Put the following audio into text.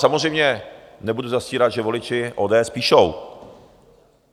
Samozřejmě nebudu zastírat, že voliči ODS píšou.